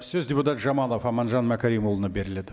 сөз депутат жамалов аманжан мәкәрімұлына беріледі